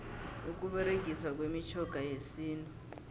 ukuberegiswa kwemitjhoga yesintu